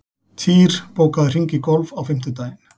Týr, bókaðu hring í golf á fimmtudaginn.